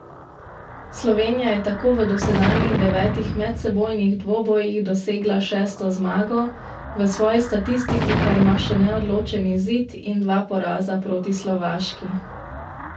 Slovenija je tako v dosedanjih devetih medsebojnih dvobojih dosegla šesto zmago, v svoji statistiki pa ima še neodločen izid in dva poraza proti Slovaški.